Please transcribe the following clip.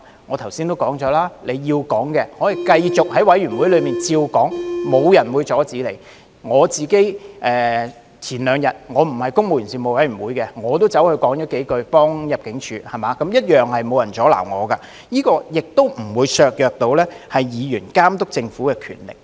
我不是公務員及資助機構員工事務委員會的委員，但我兩天前也在會議上為入境事務處表達了一些意見，同樣沒有人阻撓我，這亦不會削弱議員監察政府的權力。